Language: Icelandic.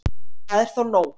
Það er þó nógu